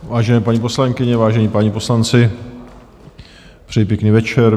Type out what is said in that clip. Vážené paní poslankyně, vážení páni poslanci, přeji pěkný večer.